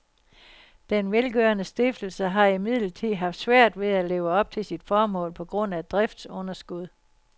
Den velgørende stiftelse har imidlertid haft svært ved at leve op til sit formål på grund af driftsunderskud.